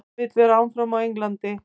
Hann vill vera áfram á Englandi.